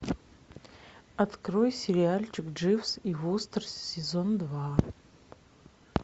открой сериальчик дживс и вустер сезон два